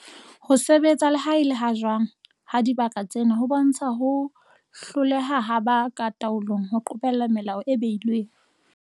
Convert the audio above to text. Ho sebetsa le ha e le ha jwang ha dibaka tsena ho bontsha ho hloleha ha ba ka taolong ho qobella melao e behilweng.